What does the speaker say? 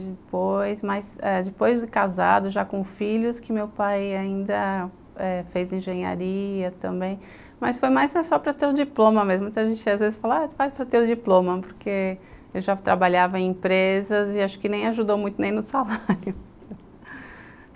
Depois, mas ãh depois do casado, já com filhos, que meu pai ainda fez engenharia também, mas foi mais não só para ter o diploma mesmo, muita gente às vezes fala, vai para ter o diploma, porque ele já trabalhava em empresas e acho que nem ajudou muito nem no salário